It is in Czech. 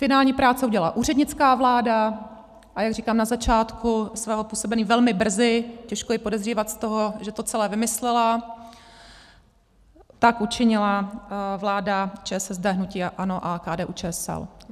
Finální práce udělala úřednická vláda, a jak říkám, na začátku svého působení velmi brzy, těžko ji podezřívat z toho, že to celé vymyslela, tak učinila vláda ČSSD, hnutí ANO a KDU-ČSL.